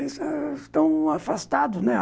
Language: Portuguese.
Estão afastados, né?